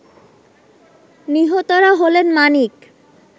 নিহতরা হলেন মানিক